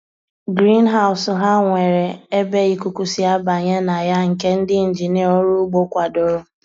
Griinhaus ha nwere ebe ikuku si abanye na ya nke ndi injinia ọrụ ugbo kwadoro